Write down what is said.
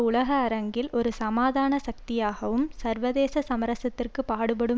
உலக அரங்கில் ஒரு சமாதான சக்தியாகவும் சர்வதேச சமரசத்திற்கு பாடுபடும்